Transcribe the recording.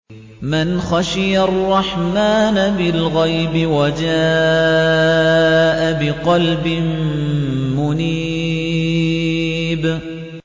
مَّنْ خَشِيَ الرَّحْمَٰنَ بِالْغَيْبِ وَجَاءَ بِقَلْبٍ مُّنِيبٍ